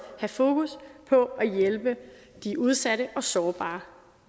have fokus på at hjælpe de udsatte og sårbare